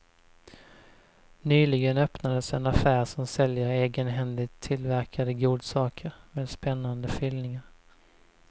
Nyligen öppnades en affär som säljer egenhändigt tillverkade godsaker med spännande fyllningar.